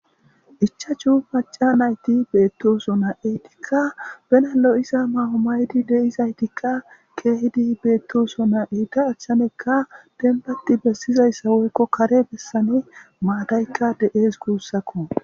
Ichchachu macca nayti beetosona eetika bena lo'iza nayo mayidi de'zaytika keehidi beetosona eeta achanika dembati bessizaysa woyko kare bessesan maatayka de'ez guusako.